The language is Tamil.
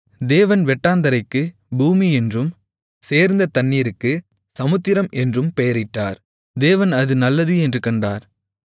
தேவன் வெட்டாந்தரைக்கு பூமி என்றும் சேர்ந்த தண்ணீருக்கு சமுத்திரம் என்றும் பெயரிட்டார் தேவன் அது நல்லது என்று கண்டார்